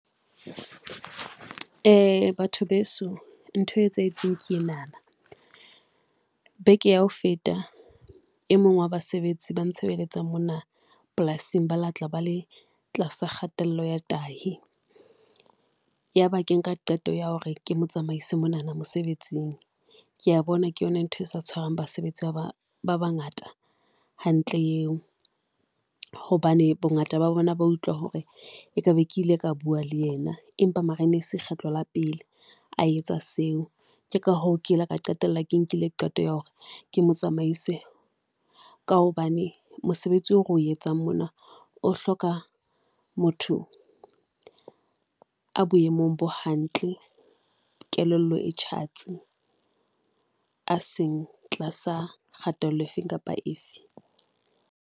Batho beso, ntho e etsahetseng ke ena na beke ya ho feta. E mong wa basebetsi ba ntshebeletsa mona polasing, ba la tla ba le tlasa kgatello ya tahi ya ba ke nka qeto ya hore ke motsamaise mona na mosebetsing. Ke a bona ke yona ntho e sa tshwarang basebetsi ba ba bangata hantle eo hobane bongata ba bona ba utlwa hore ekabe ke ile ka bua le yena. Empa mara e ne e se kgetlo la pele a etsa seo, ke ka hoo ke la ka qetella ke nkile qeto ya hore ke motsamaise, ka hobane mosebetsi o reo etsang mona o hloka motho a boemong bo hantle. Kelello e tjhatsi a seng tlasa kgatello efeng kapa efe.